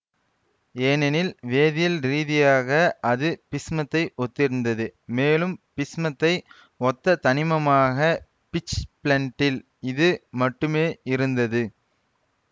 ஏனெனில் வேதியியல் ரீதியாக அது பிஸ்மத்தை ஒத்திருந்தது மேலும் பிஸ்மத்தை ஒத்த தனிமமாக பிட்ச்பிளென்டில் இது மட்டுமே இருந்தது